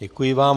Děkuji vám.